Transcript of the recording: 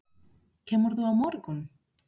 Kemurðu á morgun?